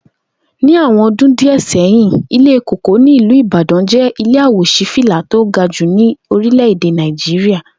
Ní awo̩n o̩dún díè̩ sé̩yìn, Ilé Kòkó ní ìlú Ìbàdán jé̩ ilé à-wò-sí-fìlà tí ó ga jù ní orílè̩-èdè Nàìjíríà